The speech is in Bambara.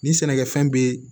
Ni sɛnɛkɛfɛn be